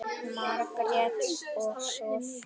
Margrét og Soffía.